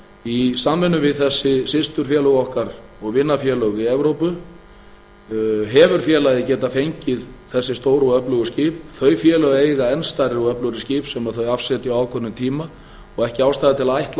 í samvinnu við þessi systurfélög okkar og vinafélög í evrópu hefur félagið getað fengið þessi stóru og öflugu skip þau félög eiga enn stærri og öflugri skip sem þau afsetja á ákveðnum tíma og ekki ástæða til að ætla